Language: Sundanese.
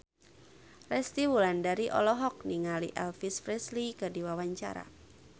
Resty Wulandari olohok ningali Elvis Presley keur diwawancara